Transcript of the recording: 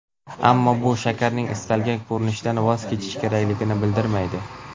Ammo bu shakarning istalgan ko‘rinishidan voz kechish kerakligini bildirmaydi.